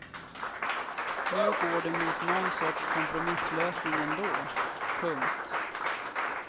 Nu går det mot nån sorts kompromisslösning ändå. punkt